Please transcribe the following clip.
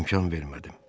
İmkan vermədim.